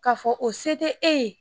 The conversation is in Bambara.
K'a fɔ o se tɛ e ye